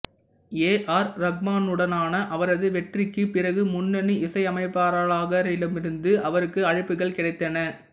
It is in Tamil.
ஏ ஆர் ரஹ்மானுடனான அவரது வெற்றிக்குப் பிறகு முன்னணி இசையமைப்பாளர்களிடமிருந்து அவருக்கு அழைப்புகள் கிடைத்தன